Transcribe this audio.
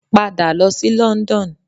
Pada lọ sí London!